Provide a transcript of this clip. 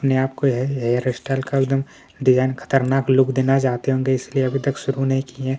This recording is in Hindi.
यहां आपको है हेयर स्टाइल का एकदम डिजाइन खतरनाक लुक देना चाहते है होंगे इसलिए अभी तक शुरू नई किए।